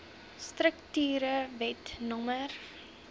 strukture wet no